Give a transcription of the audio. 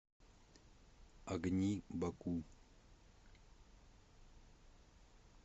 огни баку